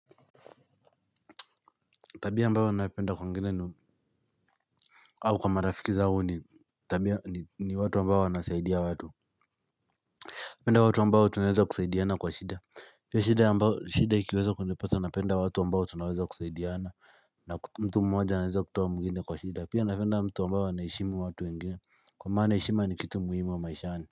Tabia ambayo napenda kwa wengine ni au kwa marafiki zangu ni tabia ni watu ambao wanasaidia watu napenda watu ambao tunaeza kusaidiana kwa shida pia shida ikiweza kunipata napenda watu ambao tunaweza kusaidiana na mtu mmoja anaweza kutoa mwingine kwa shida pia napenda mtu ambaye anaheshimu watu wengine kwa maana heshima ni kitu muhimu maishani.